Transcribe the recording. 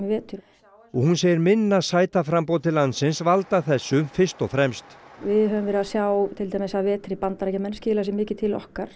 vetur og hún segir minna sætaframboð til landsins valda þessu fyrst og fremst við höfum verið að sjá til dæmis að vetri Bandaríkjamenn skila sér mikið til okkar